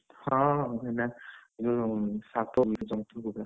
ହଁହଁ ଏଇନା ଯୋଉ ସାପ ଜନ୍ତୁ ଗୁରା,